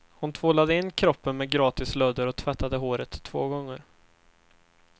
Hon tvålade in kroppen med gratis lödder och tvättade håret två gånger.